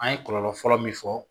An ye kɔlɔlɔ fɔlɔ min fɔ